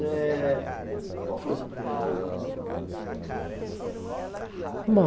Eh, qual foi o seu primeiro trabalho? Bom